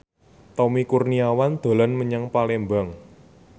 Tommy Kurniawan dolan menyang Palembang